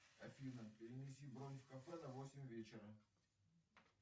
афина перенеси бронь в кафе на восемь вечера